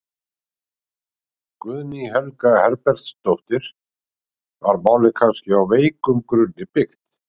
Guðný Helga Herbertsdóttir: Var málið kannski á veikum grunni byggt?